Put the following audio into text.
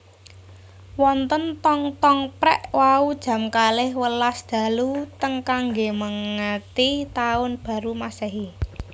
Wonten tong tong prek wau jam kalih welas dalu teng kangge mengeti taun baru masehi